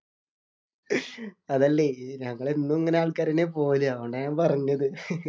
അതല്ലേ ഞങ്ങൾ എന്നും ഇങ്ങനെ ആള്‍ക്കാര് തന്നെയാ പോകല്. അത് കൊണ്ടാ ഞാന്‍ പറഞ്ഞത്.